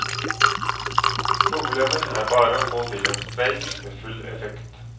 Problemet er bare å få til en streik med full effekt.